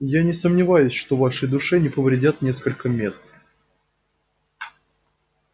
я не сомневаюсь что вашей душе не повредят несколько месс